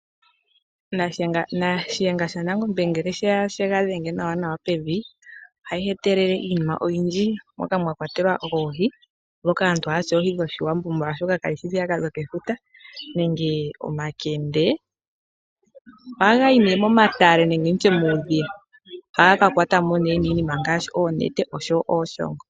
Shiyenga sha Nangombe ngele oye ga dhenge nawa nawa pevi ohayi etelele iinima oyindji moka mwatelwa oohi. Ndhoka aantu haya ti oohi dhoShiwambo oshoka kadhishi ndhiya ka dhokefuta. Nenge omakende ohaga yi nee momatale nenge nditye muudhiya. Ohaga ka kwatwa mo nee niinima ngaashi oonete osho wo ooshongo.